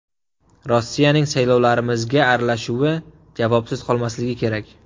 Rossiyaning saylovlarimizga aralashuvi javobsiz qolmasligi kerak.